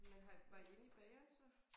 Men har I var I inde i bageren så?